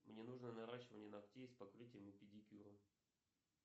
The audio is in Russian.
мне нужно наращивание ногтей с покрытием и педикюром